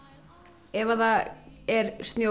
ef það er snjór